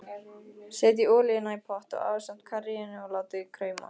Setjið olíuna í pott ásamt karríinu og látið krauma.